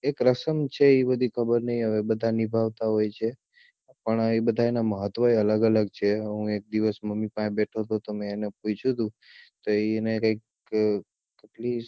એક રસમ છે એ બધી ખબર નહિ હવે બધાં નિભાવતા હોય છે પણ ઈ બધાં એનાં મહત્વ અલગ અલગ છે હું એક દિવસ મમ્મી પાસે બેઠો હતોને તો મેં એને પૂછ્યું એને કૈક